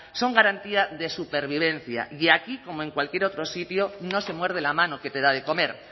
son garantía de supervivencia y aquí como en cualquier otro sitio no se muerde la mano que te da de comer